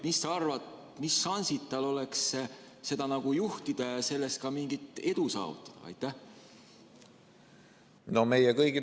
Mis sa arvad, mis šansid tal oleks seda juhtida ja selles ka mingit edu saavutada?